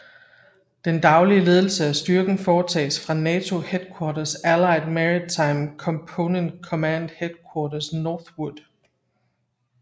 Den daglige ledelse af styrken foretages fra NATO Headquarters Allied Maritime Component Command Headquarters Northwood